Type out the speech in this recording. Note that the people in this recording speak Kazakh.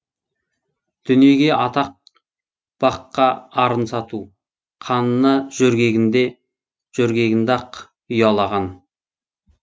дүниеге атақ баққа арын сату қанына жөргегінде ақ ұялаған